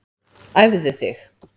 Æfðu þig